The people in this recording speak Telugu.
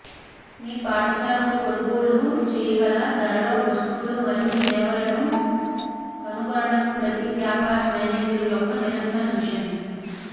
మీ పాఠశాలకు కొనుగోలు చేయగల ధరలలో వస్తువులు మరియు సేవలను కనుగొనడం ప్రతి వ్యాపార మేనేజర్ యొక్క నిరంతర మిషన్